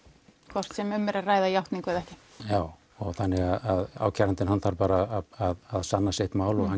hvort sem um er að ræða játningu eða ekki já þannig að ákærandinn þarf bara að sanna sitt mál og hann